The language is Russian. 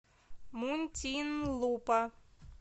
мунтинлупа